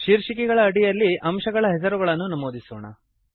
ಶೀರ್ಷಿಕೆಗಳ ಅಡಿಯಲ್ಲಿ ಅಂಶಗಳಕಾಂಪೊನೆಂಟ್ ಹೆಸರುಗಳನ್ನು ನಮೂದಿಸೋಣ